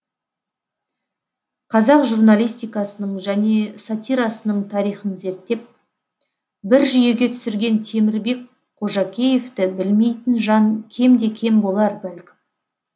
қазақ журналистикасының және сатирасының тарихын зерттеп бір жүйеге түсірген темірбек қожакеевті білмейтін жан кемде кем болар бәлкім